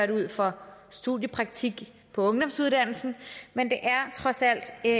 det ud for studiepraktik på ungdomsuddannelsen men det er trods alt et